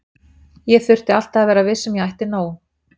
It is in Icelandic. Ég þurfti alltaf að vera viss um að ég ætti nóg.